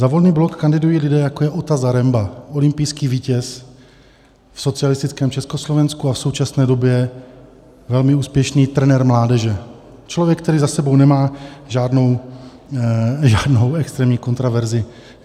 Za Volný blok kandidují lidé, jako je Ota Zaremba, olympijský vítěz v socialistickém Československu a v současné době velmi úspěšný trenér mládeže, člověk, který za sebou nemá žádnou extrémní kontroverzi.